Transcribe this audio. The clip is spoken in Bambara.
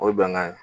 O ye bɛnkan ye